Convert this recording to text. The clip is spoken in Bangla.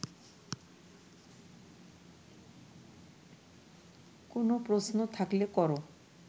কোনও প্রশ্ন থাকলে কর